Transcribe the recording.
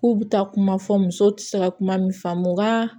K'u bɛ taa kuma fɔ musow tɛ se ka kuma min faamu nka